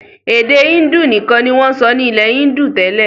Èdè índù nìkan ni wọn sọ nilẹ índù tẹ́lẹ̀.